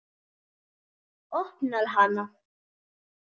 Opnar hana.